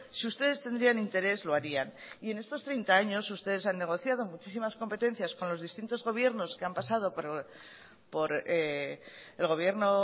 si ustedes tendrían interés lo harían y en estos treinta años ustedes han negociado muchísimas competencias con los distintos gobiernos que han pasado por el gobierno